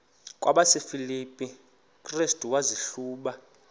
kwabasefilipi restu wazihluba